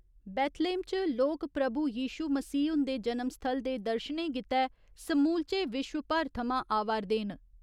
Bethlehem च लोक प्रभु यीशू मसीह हुंदे जनम स्थल दे दर्शनें गित्ते समूलचे विश्व भर थमां अवा'रदे न।